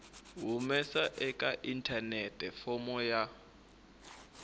humesa eka inthanete fomo ya